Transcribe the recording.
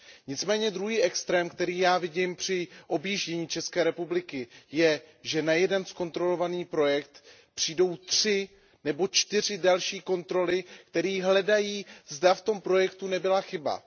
Nicméně druhý extrém, který já vidím při objíždění ČR, je, že na jeden zkontrolovaný projekt přijdou tři nebo čtyři další kontroly, které hledají, zda v tom projektu nebyla chyba.